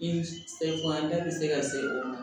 I se fana da bɛ se ka se o ma